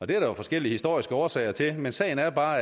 det er der jo forskellige historiske årsager til men sagen er bare